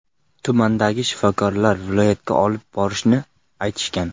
Tumandagi shifokorlar viloyatga olib borishlarini aytishgan.